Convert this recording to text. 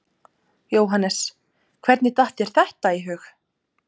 Jóhannes: Hvernig datt þér þetta í hug?